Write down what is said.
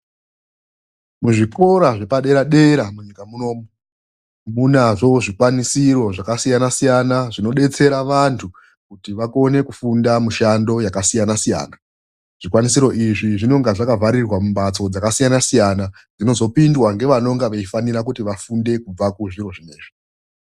Muzvikora zvepadera dera munyika munomu munazvo zvikwanisiro zvakasiyana siyana, zvinodetsera vantu kuti vakone kufunda mushando yakasiyana siyana. Zvikwanisiro izvi zvinonga zvakavharirwa mumhatso dzakasiyana siyana dzinozopindwa ngevanonga veifanira kuti vafunde kubva ku zviro zvinezvi.